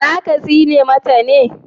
za ka tsine mata me?